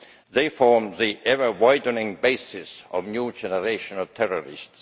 They form the ever widening basis of a new generation of terrorists.